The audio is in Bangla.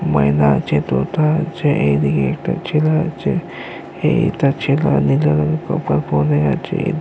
মহিলা আছে দুটা আছে এইদিকে একটা ছেলে আছে এইতা ছেলে আছে।